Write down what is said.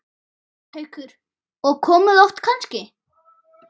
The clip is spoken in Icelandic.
Haukur: Og komið oft kannski?